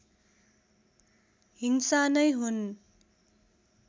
हिंसा नै हुन्